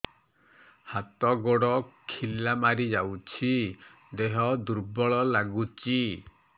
ହାତ ଗୋଡ ଖିଲା ମାରିଯାଉଛି ଦେହ ଦୁର୍ବଳ ଲାଗୁଚି